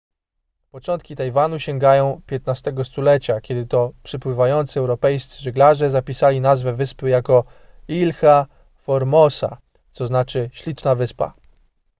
początki tajwanu sięgają xv stulecia kiedy to przepływający europejscy żeglarze zapisali nazwę wyspy jako ilha formosa co znaczy śliczna wyspa